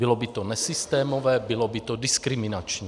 Bylo by to nesystémové, bylo by to diskriminační.